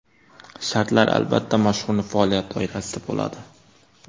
Shartlar, albatta, mashhurning faoliyati doirasida bo‘ladi.